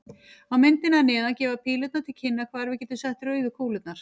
Á myndinni að neðan gefa pílurnar til kynna hvar við getum sett rauðu kúlurnar.